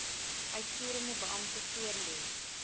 uitvoerende beampte voorlê